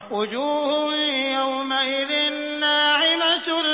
وُجُوهٌ يَوْمَئِذٍ نَّاعِمَةٌ